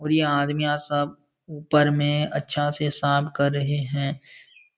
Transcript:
और ये आदमियाँ सब ऊपर में अच्छा से साफ कर रहे हैं |